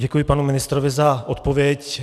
Děkuji panu ministrovi za odpověď.